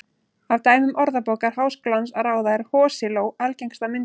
Af dæmum Orðabókar Háskólans að ráða er hosiló algengasta myndin.